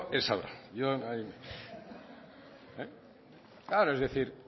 él sabrá yo ahí claro es que decir